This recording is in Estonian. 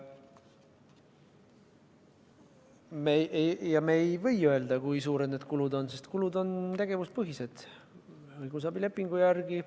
Me ei või öelda, kui suured need kulud on, sest kulud on tegevuspõhised, õigusabilepingu järgi.